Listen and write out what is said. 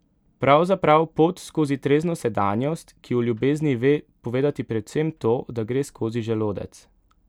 Pravzaprav pot skozi trezno sedanjost, ki o ljubezni ve povedati predvsem to, da gre skozi želodec.